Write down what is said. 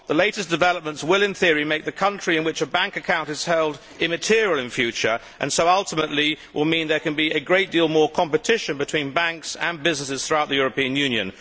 The latest developments will in theory make the country in which a bank account is held immaterial in future and so ultimately will mean that there can be a great deal more competition between banks and businesses throughout the European Union.